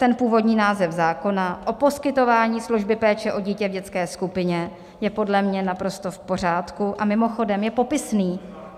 Ten původní název zákona o poskytování služby péče o dítě v dětské skupině je podle mě naprosto v pořádku a mimochodem je popisný.